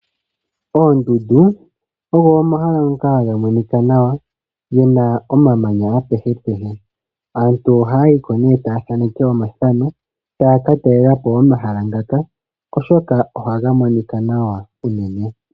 Oondundu ogo omahala ngoka haga monika nawa ge na omamanya apehepehe. Aantu ohaya yi ko nee taya thaneke omathano, taya ka talela po omahala ngaka, oshoka ohaga monika nawa unene.